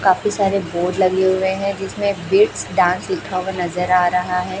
काफी सारे बोर्ड लगे हुए हैं जिसमें बिट्स डांस लिखा हुआ नजर आ रहा है।